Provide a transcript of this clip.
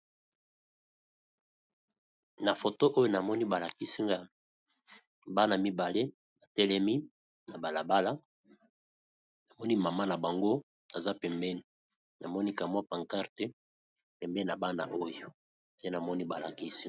Na photo oyo balakisi ngai bana mibale batelemi na balabala, na maman na bango pembeni